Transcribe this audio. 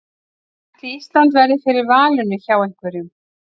Ætli Ísland verði fyrir valinu hjá einhverjum?